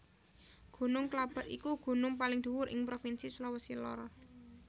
Gunung Klabat iku gunung paling dhuwur ing Provinsi Sulawesi Lor